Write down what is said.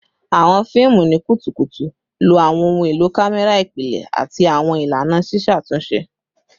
Awọn fiimu ni kutukutu lo awọn ohun elo kamẹra ipilẹ ati awọn ilana ṣiṣatunṣe